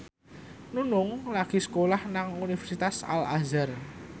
Nunung lagi sekolah nang Universitas Al Azhar